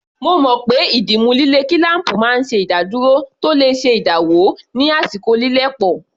Mo mọ̀ pé ìdìmú líle kílám̀pù máa ń ṣe ìdádúró tó le ṣe ìdáwọ́ ní àsìkò lílẹ̀ pọ̀